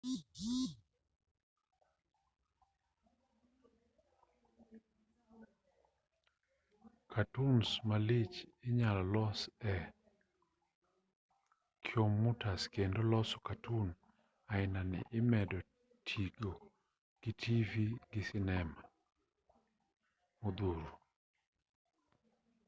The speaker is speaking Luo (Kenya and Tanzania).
katuns malich inyalo los e komyutas kendo loso katun ainani imedo tigo gi tivi gi sinema modhuro.